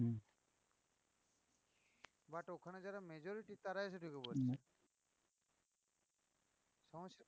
But ওখানে যারা majority তারাই এসে ঢুকে পড়ছে